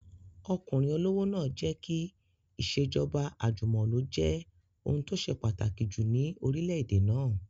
Ọkùnrin olówó náà jẹ́ kí ìṣèjọba àjùmọ̀lo jẹ́ ohun tó ṣe pàtàkì jù ní orílẹ̀-èdè náà